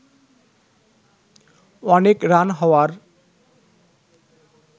অনেক রান হওয়ার